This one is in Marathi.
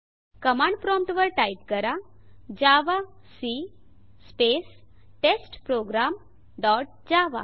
कमांड प्रॉम्प्ट वर टाइप करा जावाक स्पेस टेस्टप्रोग्राम डॉट जावा